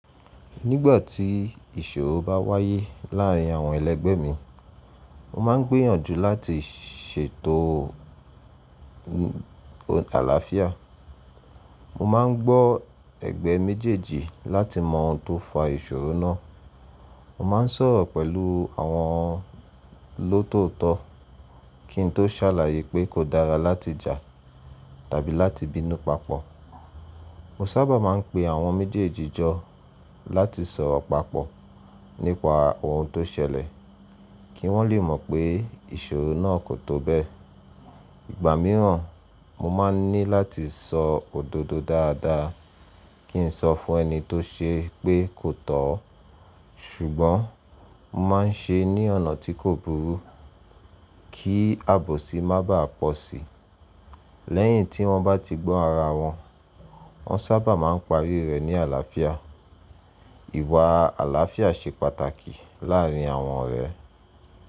Nígbà tí ìṣòro bá wáyé láàárín àwọn ẹlẹgbẹ́ mi, mo máa ń gbìyànjú láti ṣètò àlàáfíà. Mo máa ń gbọ́ ẹgbẹ́ méjèèjì láti mọ ohun tó fa ìṣòro náà. Mo máa ń sọ̀rọ̀ pẹ̀lú àwọn lóòtó kin tó sàlàyé pé kò dára láti jà tàbí láti bínú papọ. Mo sábà máa ń pe àwọn méjèèjì jọ láti sọ̀rọ̀ papọ̀ nípa ohun tó ṣẹlẹ̀ kí wọ́n lè mọ pé ìṣòro náà kò tó bẹ́ẹ̀. Ìgbà mìíràn, mo máa ní láti sọ òdodo dáadáa kí n sọ fún ẹni tó ṣe pé kò tọ́. Ṣùgbọ́n mo máa ń ṣe ẹ́ ní ọ̀nà tí kò burú kí àbòsí má bàá pọ̀ sí i. Lẹ́yìn tí wọ́n bá ti gbọ́ ara wọn, wọ́n sábà máa ń parí rẹ̀ ní àlàáfíà. Ìwà àlàáfíà ṣe pàtàkì láàárín àwọn ọ̀rẹ́.